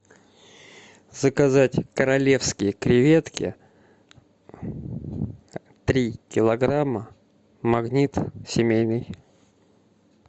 заказать королевские креветки три килограмма магнит семейный